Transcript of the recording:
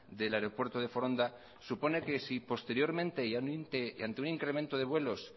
del aeropuerto de foronda supone que si posteriormente y ante un incremento de vuelos